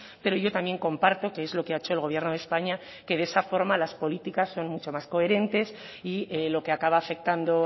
pero yo también comparto que es lo que ha hecho el gobierno de españa que de esa forma las políticas son mucho más coherentes y lo que acaba afectando